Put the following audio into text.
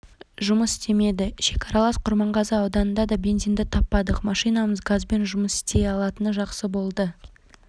жұмыс істемеді шекаралас құрманғазы ауданында да бензинді таппадық машинамыз газбен жұмыс істей алатыны жақсы болды